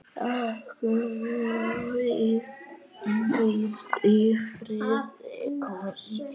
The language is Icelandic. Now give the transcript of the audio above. Elsku vinur, hvíl í friði.